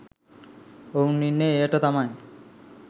ඔවුන් ඉන්නේ එයට තමයි